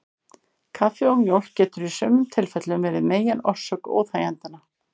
Kaffi og mjólk getur í sumum tilfellum verið megin orsök óþægindanna.